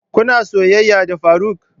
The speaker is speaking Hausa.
Kuna soyayya da faruk?